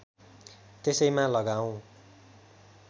त्यसैमा लगाऔँ